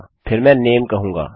फिर मैं यहाँ नामे कहूँगा